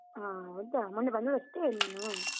ಹ, ಹೌದಾ? ಮೊನ್ನೆ ಬಂದದಷ್ಟೇಯಾ ನೀನು?